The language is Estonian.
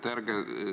Aitäh!